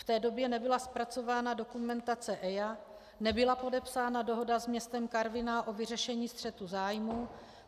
V té době nebyla zpracovaná dokumentace EIA, nebyla podepsána dohoda s městem Karviná o vyřešení střetu zájmů.